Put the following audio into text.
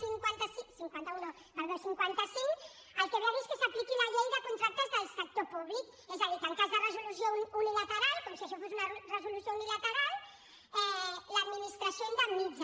cinquanta un no perdó cinquanta cinc el que ve a dir és que s’apliqui la llei de contractes del sector públic és a dir que en cas de resolució unilateral com si això fos una resolució unilateral l’administració indemnitza